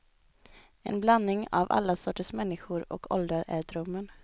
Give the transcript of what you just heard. En blandning av alla sorters människor och åldrar är drömmen.